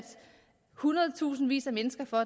hundredtusindvis af mennesker for